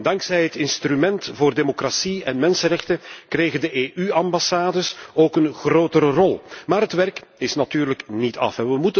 Dankzij het instrument voor democratie en mensenrechten kregen de EU ambassades ook een grotere rol. Maar het werk is natuurlijk niet af.